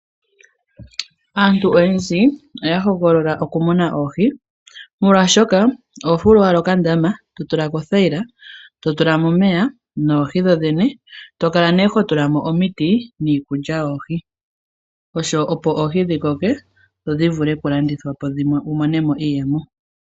Aantu oyendji oya hogolola okumuna oohi, molwashoka oho fulu owala okandama, to tula mo othayila, to tula mo omeya noohi dhodhene. to kala ihe ho tula mo omiti niikulya yoohi, opo oohi dhi koke dho dhivule okulandithwa po wu mone mo iiyemo.